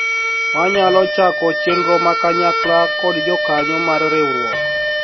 wanyalo chako chenro ma kanyakla kod jokanyo mar riwruok